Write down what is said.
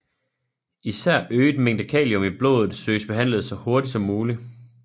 Især øget mængde kalium i blodet søges behandlet så hurtigt som muligt